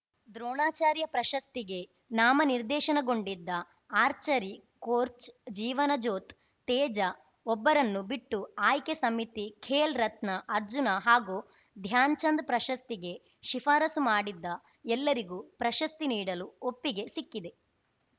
ದ್ರೋಣಾಚಾರ್ಯ ಪ್ರಶಸ್ತಿಗೆ ನಾಮನಿರ್ದೇಶನಗೊಂಡಿದ್ದ archery coach Jeevanjot Teja ಒಬ್ಬರನ್ನು ಬಿಟ್ಟು ಆಯ್ಕೆ ಸಮಿತಿ ಖೇಲ್‌ ರತ್ನ ಅರ್ಜುನ ಹಾಗೂ ಧ್ಯಾನ್‌ಚಂದ್‌ ಪ್ರಶಸ್ತಿಗೆ ಶಿಫಾರಸು ಮಾಡಿದ್ದ ಎಲ್ಲರಿಗೂ ಪ್ರಶಸ್ತಿ ನೀಡಲು ಒಪ್ಪಿಗೆ ಸಿಕ್ಕಿದೆ